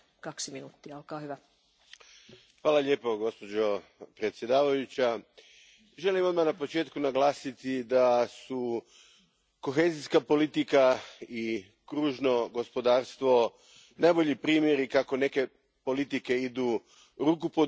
Gospođo predsjedavajuća, želim odmah na početku naglasiti da su kohezijska politika i kružno gospodarstvo najbolji primjeri kako neke politike idu ruku pod ruku, kako su neke politike